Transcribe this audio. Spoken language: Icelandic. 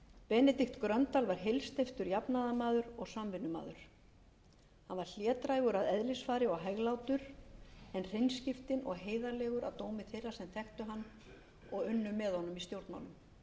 benedikt gröndal var heilsteyptur jafnaðarmaður og samvinnumaður hann var hlédrægur að eðlisfari og hæglátur en hreinskiptinn og heiðarlegur að dómi þeirra sem þekktu hann og unnu með honum í stjórnmálum hann